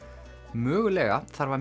mögulega þarf að